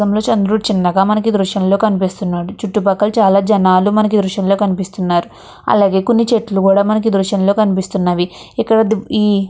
చిన్నగా మనకి ఈ దృశ్యాల్లో కనిపిస్తున్నాడు. చుటుపక్కల చాల జనాలు మనకి ఈ దృశ్యాల్లో కనిపిస్తున్నారు. అలాగే కొన్ని చెట్లు కూడా ఈ మనకి కనిపిస్తున్నవి. ఇక్కడ ఇవి--